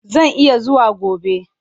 Zan iya zuwa gobe.